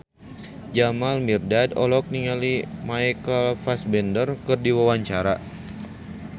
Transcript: Jamal Mirdad olohok ningali Michael Fassbender keur diwawancara